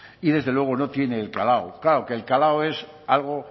y desde luego no tiene el calado claro que el calado es algo